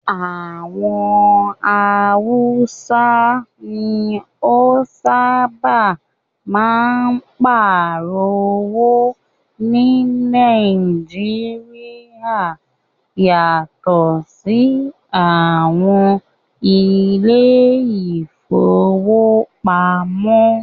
Àwọn haúsá ní o sábáà máa n páàrọ̀ owó ní Nàìjíríà yatọ sí àwọn ilé ìfọwọ́pamo.